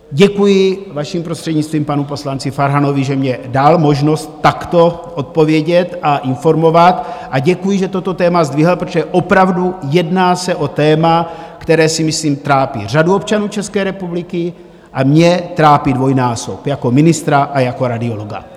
Děkuji, vaším prostřednictvím, panu poslanci Farhanovi, že mně dal možnost takto odpovědět a informovat, a děkuji, že toto téma zdvihl, protože opravdu jedná se o téma, které si myslím trápí řadu občanů České republiky a mě trápí dvojnásob jako ministra a jako radiologa.